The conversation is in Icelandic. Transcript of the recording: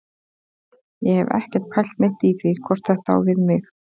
Ég hef ekkert pælt neitt í því hvort þetta á við mig.